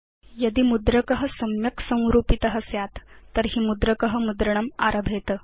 यदि मुद्रक सम्यक् संरूपित स्यात् तर्हि मुद्रक मुद्रणम् आरभेत